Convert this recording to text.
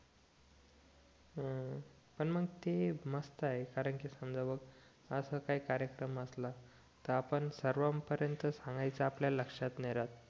हम्म पण मग ते मस्त आहे कारण कि समजा बॉ असा काही कार्यक्रम असला तर आपलं सर्वां परेंत सांगायचं आपल्या लक्षात नाही राहत